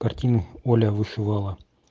картину оля вышивала